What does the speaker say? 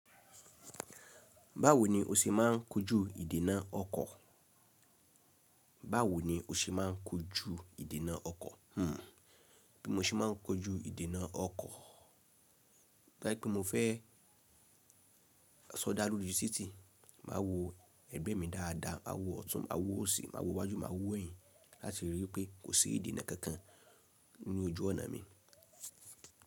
Báwo ni o ṣe máà ń kojú ìdènà ọkọ̀? Báwo ni o ṣe máà ń kojú ìdènà ọkọ̀? Bí mo ṣe máà ń kojú ìdènà ọkọ̀, to ba je pẹ́ mo fẹ́ sọdá lóri titi, màá wo ẹgbẹ́ mi dáadáa, a wo ọ̀tún, a wo òsì, a wo iwájú, a wo ẹ̀yìn láti ríi pé kò sí ìdènà kankan ní ojú ọ̀nà mi.